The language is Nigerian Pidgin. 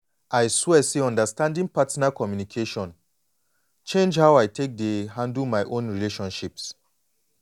i swear say understanding partner communication change how i take dey handle my own relationships.